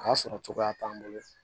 A y'a sɔrɔ cogoya t'an bolo